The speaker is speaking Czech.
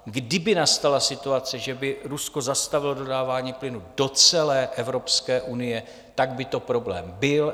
Kdyby nastala situace, že by Rusko zastavilo dodávání plynu do celé Evropské unie, tak by to problém byl.